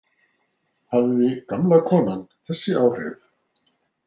Hafði gamla konan þessi áhrif?